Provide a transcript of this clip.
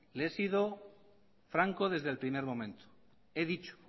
le he sido franco desde el primer momento